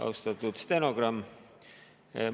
Austatud stenogramm!